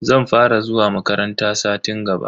Zan fara zuwa makaranta satin gaba.